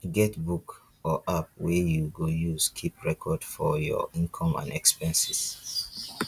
get book or app wey yu go use keep record for yur income and expenses